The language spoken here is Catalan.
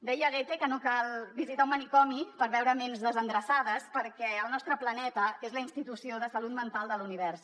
deia goethe que no cal visitar un manicomi per veure ments desendreçades perquè el nostre planeta és la institució de salut mental de l’univers